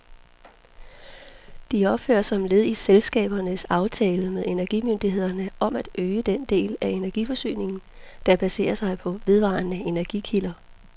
De opføres som led i elselskabernes aftale med energimyndighederne om at øge den del af energiforsyningen, der baserer sig på vedvarende energikilder.